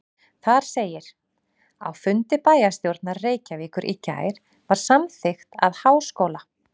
Þar segir: Á fundi bæjarstjórnar Reykjavíkur í gær var samþykkt að Háskóla